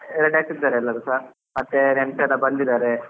Ready ಆಗ್ತಿದ್ದಾರೆ ಎಲ್ಲರೂಸ, ಮತ್ತೆ ನೆಂಟರೆಲ್ಲ ಬಂದಿದ್ದಾರೆ